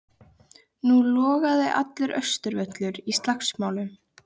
Nú logaði allur Austurvöllur í slagsmálum.